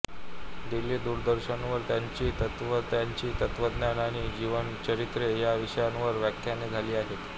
दिल्ली दूरदर्शनवर त्यांची तत्त्ववेत्त्यांचे तत्त्वज्ञान आणि जीवन चरित्रे या विषयावर व्याख्याने झाली आहेत